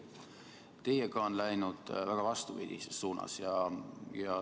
Teiega on asi läinud vastupidises suunas.